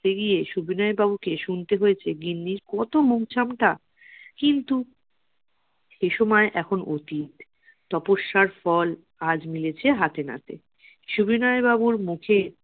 পেরিয়ে সুবিনয় বাবু কে শুনতে হয়েছে গিন্নির কত মুখঝামটা কিন্তু সে সময় এখন অতীত তপস্যার ফল আজ মিলেছে হাতে নাতে সুবিনয় বাবুর মুখে